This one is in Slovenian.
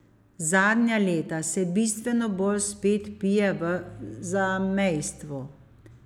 Zadnja leta se bistveno bolj spet pije v zamejstvu.